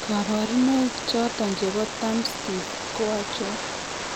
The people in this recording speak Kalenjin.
kabarunaik choton chebo Thumb stiff ko achon ?